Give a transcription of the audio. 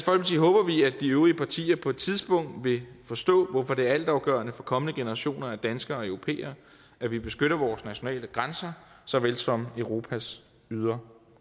de øvrige partier på et tidspunkt vil forstå hvorfor det er altafgørende for kommende generationer af danskere og europæere at vi beskytter vores nationale grænser såvel som europas ydre